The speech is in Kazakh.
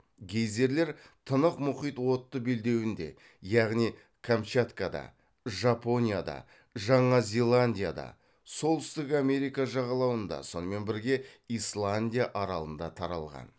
гейзерлер тынық мұхит отты белдеуінде яғни камчаткада жапонияда жаңа зеландияда солтүстік америка жағалауында сонымен бірге исландия аралында таралған